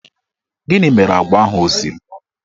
Gịnị mere agwa ahụ ọ siri?